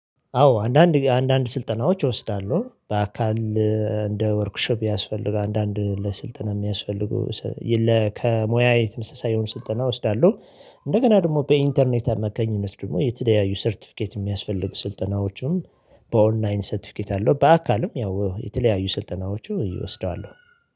አዎ አንዳንድ አንዳንድ ስልጠናዎች እወስዳሉ በአካል እንደ ወርክሺፕ ያስፈልጋል አንዳንድ ለስልጠና የሚያስፈልጉ ከሙያዬ ተመሳሳይ የሆኑ ስልጠና እወስዳለሁ። እንደገና ደግሞ በኢንተርኔት አማካኝነት ደግሞ የተለያዩ ሰርቲፊኬት የሚያስፈልጉ ስልጠናዎቹን በኦንላይን ሰርቲፊኬት አለው በአካልም ያው የተለያዩ ስልጠናዎቹ እወስደዋሉ።